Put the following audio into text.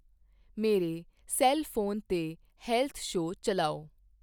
ਮੇਰੇ cell phone 'ਤੇ health show ਚੱਲਾਓ